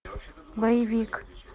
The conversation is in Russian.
боевик